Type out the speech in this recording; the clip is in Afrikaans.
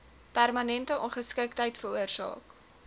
permanente ongeskiktheid veroorsaak